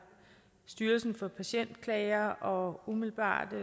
styrelsen for patientklager og umiddelbart har